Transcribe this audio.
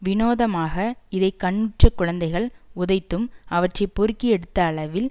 வினோதமாக இதை கண்ணுற்ற குழந்தைகள் உதைத்தும் அவற்றை பொறுக்கி எடுத்த அளவில்